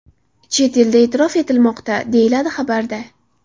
Chet elda e’tirof etilmoqda”, deyiladi xabarda.